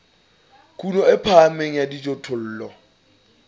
kuno e phahameng ya dijothollo